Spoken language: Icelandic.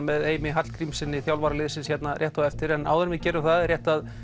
með Heimi Hallgrímssyni þjálfara liðsins hér rétt á eftir en áður en við gerum það er rétt að